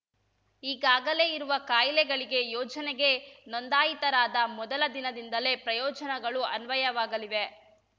ಈಗಾಗಲೇ ಇರುವ ಕಾಯಿಲೆಗಳಿಗೆ ಯೋಜನೆಗೆ ನೋಂದಾಯಿತರಾದ ಮೊದಲ ದಿನದಿಂದಲೇ ಪ್ರಯೋಜನಗಳು ಅನ್ವಯವಾಗಲಿವೆ